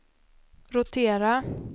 rotera